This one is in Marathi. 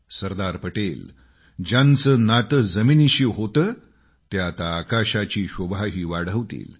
सरदार पटेल ज्यांचे नाते जमिनीशी होते ते आता आकाशाची शोभाही वाढवतील